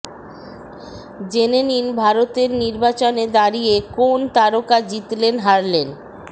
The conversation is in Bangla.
জেনে নিন ভারতের নির্বাচনে দাঁড়িয়ে কোন তারকা জিতলেন হারলেন